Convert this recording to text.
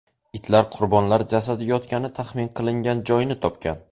Itlar qurbonlar jasadi yotgani taxmin qilingan joyni topgan.